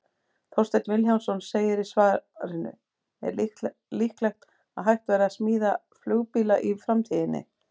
Þorsteinn Vilhjálmsson segir í svarinu Er líklegt að hægt verði að smíða flugbíla í framtíðinni?